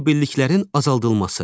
Zibilliklərin azaldılması.